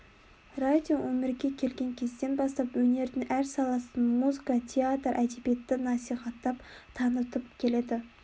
радио өмірге келген кезден бастап өнердің әр саласын музыка театр әдебиетті насихаттап танытып келеді